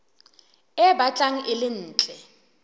e batlang e le ntle